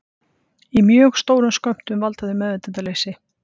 Í mjög stórum skömmtum valda þau meðvitundarleysi.